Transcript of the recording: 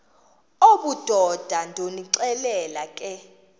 obudoda ndonixelela ke